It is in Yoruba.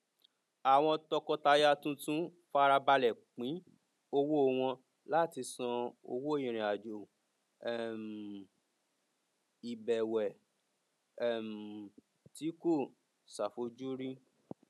àwọn tọkọtaya tuntun farabale pin owó wọn láti san owó irinajo um ìbẹwẹ um tí kò ṣàfojúrí